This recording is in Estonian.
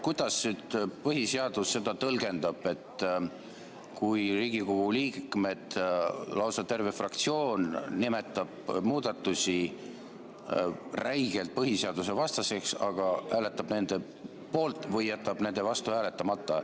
Kuidas põhiseadus seda tõlgendab, kui Riigikogu liikmed, lausa terve fraktsioon nimetab muudatusi räigelt põhiseadusevastasteks, aga hääletab nende poolt või jätab nende vastu hääletamata?